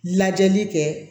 Lajɛli kɛ